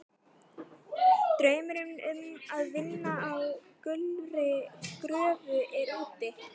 Draumurinn um að vinna á gulri gröfu er úti.